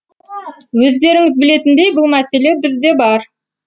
өздеріңіз білетіндей бұл мәселе бізде бар